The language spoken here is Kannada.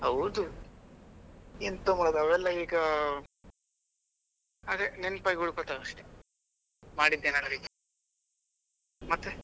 ಹೌದು ಎಂತ ಮಾಡುದು ಅವೆಲ್ಲ ಈಗ ಅದೆ ನೆನಪಾಗಿ ಉಳ್ಕೋತಾವೆ ಅಷ್ಟೇ ಮಾಡಿದ್ದೇನಾದ್ರೂ ಇದ್ರೆ ಮತ್ತೆ?